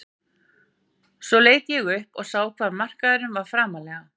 Svo leit ég upp og sá hvað markmaðurinn var framarlega.